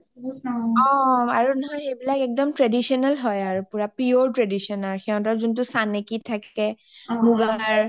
অ অ আৰু নহয় সেইবিলাক একদম traditional হয় পুৰা pure traditional হয় সিহিতৰ যোনটো চানেকিত থাকে মুগাৰ অ